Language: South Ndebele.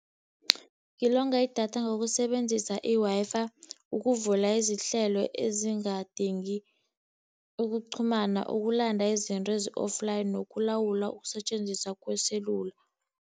Ngilonga idatha ngokusebenzisa i-Wi-Fi ukuvula izihlelo ezingadingi ukuqhumana, ukulanda izinto ezi-offline, nokulawula ukusetjenziswa kweselula.